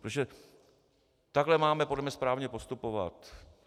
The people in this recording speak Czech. Protože takhle máme podle mě správně postupovat.